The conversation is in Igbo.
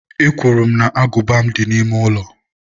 Ekwuru m na agụba m dị n'ime ụlọ.